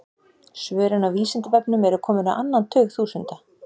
Svörin á Vísindavefnum eru komin á annan tug þúsunda.